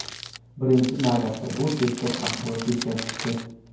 Birinchi navbatda, bu tezkor axborot yetkazishdir.